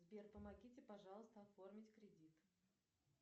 сбер помогите пожалуйста оформить кредит